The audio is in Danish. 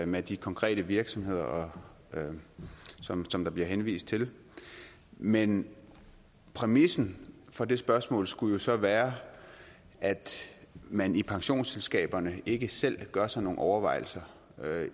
med de konkrete virksomheder som som der bliver henvist til men præmissen for det spørgsmål skulle jo så være at man i pensionsselskaberne ikke selv gør sig nogen overvejelser